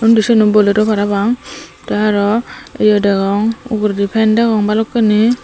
undi siyeno bolero parapang tey aro ye degong uguredi fan degong balokkani.